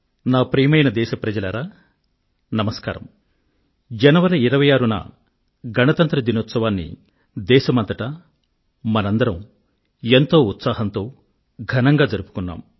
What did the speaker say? నా ప్రియమైన దేశప్రజలారా నమస్కారం జనవరి 26 న గణతంత్ర దినోత్సవాన్ని దేశమంతటా మనమందరం ఎంతో ఉత్సాహంతో ఘనంగా జరుపుకున్నాం